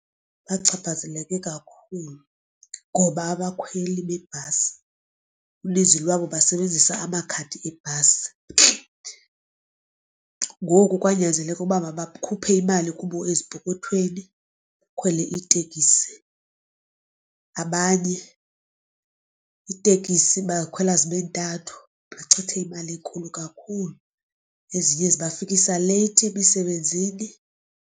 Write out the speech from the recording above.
Bachaphazeleke kakhulu ngoba abakhweli bebhasi uninzi lwabo basebenzisa amakhadi ebhasi. Ngoku kwanyanzeleka uba makhuphe imali kubo ezipokothweni bakhwele itekisi. Abanye iitekisi bakhwela zibe ntathu bachithe imali enkulu kakhulu ezinye zibafikisa leyithi emisebenzini.